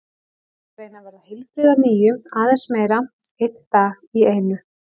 Ég er að reyna að verða heilbrigð að nýju, aðeins meira, einn dag í einu.